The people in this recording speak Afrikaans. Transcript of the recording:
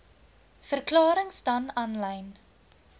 verklarings dan aanlyn